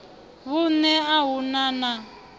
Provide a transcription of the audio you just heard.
vhunṋe a hu na na